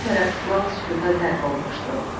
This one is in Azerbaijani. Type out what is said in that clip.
Hər tərəf lal-sükuta qərq olmuşdu.